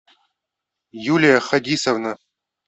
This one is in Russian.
юлия хадисовна